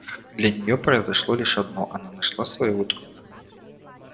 для нее произошло лишь одно она нашла своего друга